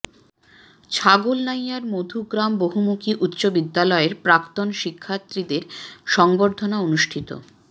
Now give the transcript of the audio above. ছাগলনাইয়ার মধুগ্রাম বহুমুখী উচ্চ বিদ্যালয়ের প্রাক্তন শিক্ষার্থীদের সংবর্ধনা অনুষ্ঠিত